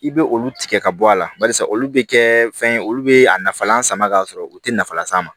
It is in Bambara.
I bɛ olu tigɛ ka bɔ a la barisa olu bɛ kɛ fɛn ye olu bɛ a nafa lasama ka sɔrɔ u tɛ nafa las'a ma